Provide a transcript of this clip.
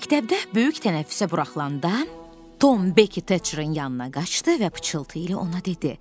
Məktəbdə böyük tənəffüsə buraxılanda Tom Bekki Taçrin yanına qaçdı və pıçıltı ilə ona dedi.